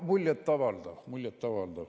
Muljet avaldav, muljet avaldav.